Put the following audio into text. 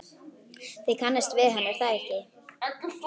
Þið kannist við hann, er það ekki?